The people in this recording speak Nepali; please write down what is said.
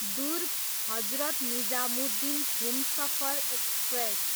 दुर्ग, हजरत निजामुद्दिन हुमसफर एक्सप्रेस